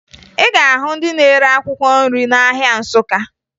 Ị ga-ahụ ndị na-ere akwụkwọ nri n'ahịa Nsụka